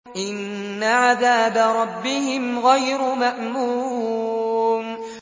إِنَّ عَذَابَ رَبِّهِمْ غَيْرُ مَأْمُونٍ